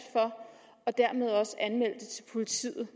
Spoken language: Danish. for og dermed også anmelde det til politiet